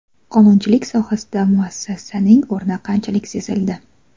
Qonunchilik sohasida muassasaning o‘rni qanchalik sezildi?